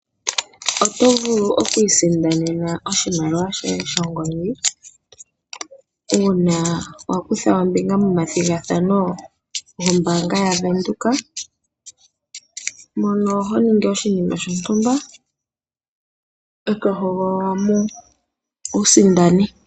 Oto vulu oku isindanena oshimaliwa shoye shongodhi, una wa kutha ombinga momathigathano gombaanga yaVenduka, mono ho ningi oshinima shontumba, e to hogololwa mo wu sindane.